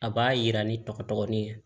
A b'a yira ni tɔgɔ ni ye